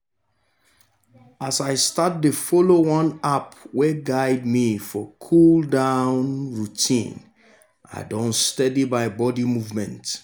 as i start dey follow one app wey guide me for cool-down routine i don steady my body movement.